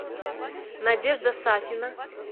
надежда сафина